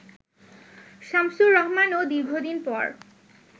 শামসুর রহমান ও দীর্ঘদিন পর